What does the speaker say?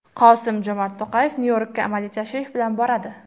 Qosim-Jomart To‘qayev Nyu-Yorkga amaliy tashrif bilan boradi.